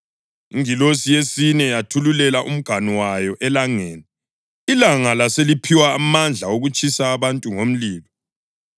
Ingilosi yesine yathululela umganu wayo elangeni, ilanga laseliphiwa amandla okutshisa abantu ngomlilo.